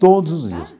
Todos os dias.